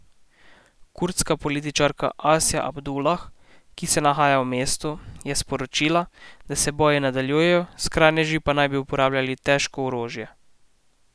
Kurdska političarka Asja Abdulah, ki se nahaja v mestu, je sporočila, da se boji nadaljujejo, skrajneži pa naj bi uporabljali težko orožje.